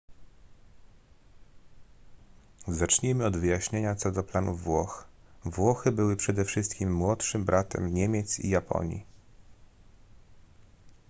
zacznijmy od wyjaśnienia co do planów włoch włochy były przede wszystkim młodszym bratem niemiec i japonii